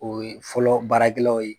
O ye fɔlɔ baaragɛlaw ye